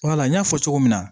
Wala n y'a fɔ cogo min na